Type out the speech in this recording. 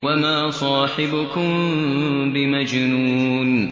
وَمَا صَاحِبُكُم بِمَجْنُونٍ